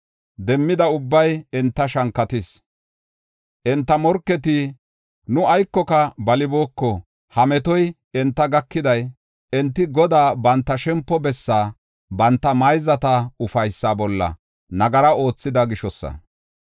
Demmida ubbay enta shankatis. Enta morketi, ‘Nu aykoka balibooko; ha metoy enta gakiday, enti Godaa, banta shempo bessaa, banta mayzata ufaysa bolla nagara oothida gishosa.’